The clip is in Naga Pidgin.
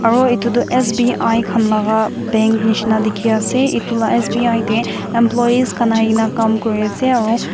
mui itu toh S_B_I khan laga bank nishina dikhi ase itu la S_B_I deh employees khan ahigena kam kuri ase aro.